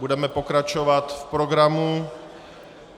Budeme pokračovat v programu.